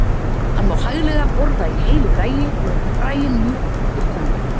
Hann má hæglega borða í heilu lagi og eru fræin mjúk undir tönn.